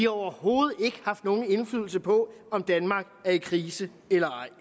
overhovedet ikke haft nogen indflydelse på om danmark er i krise eller ej